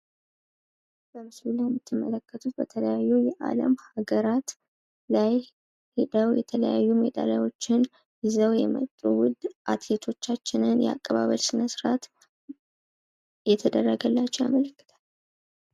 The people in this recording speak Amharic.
በምስሉ ላይ የምትመለከቱት በተለያዩ የአለም ሀገራት ላይ የተለያዩ ሜዳልያዎችን ይዘው የመጡ ውድ አትሌቶቻችን የአቀባበል ስነ ስርአት እየተደረገላቸው ያመለክታል።